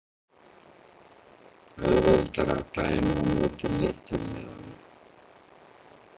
Auðveldara að dæma á móti litlu liðunum?